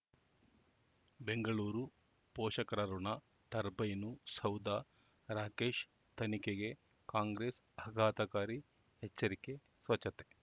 ಬೆಂಗಳೂರು ಪೋಷಕರಋಣ ಟರ್ಬೈನು ಸೌಧ ರಾಕೇಶ್ ತನಿಖೆಗೆ ಕಾಂಗ್ರೆಸ್ ಆಘಾತಕಾರಿ ಎಚ್ಚರಿಕೆ ಸ್ವಚ್ಛತೆ